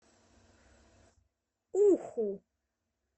уху